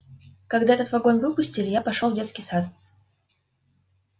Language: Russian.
когда этот вагон выпустили я пошёл в детский сад